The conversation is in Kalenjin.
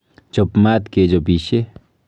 Chop maat kechopishe.